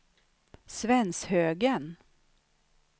Svenshögen